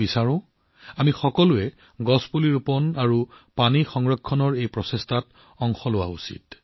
মই বিচাৰিম যে আমি সকলোৱে গছপুলি ৰোপণ আৰু পানী ৰক্ষাৰ এই প্ৰচেষ্টাসমূহৰ অংশ হওঁ